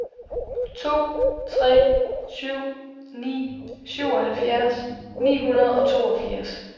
to tre syv ni syvoghalvfjerds ni hundrede og toogfirs